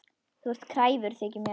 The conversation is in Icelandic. Þú ert kræfur, þykir mér.